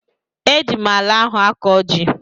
Eji m ala ahụ akọ ji